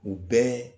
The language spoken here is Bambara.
U bɛɛ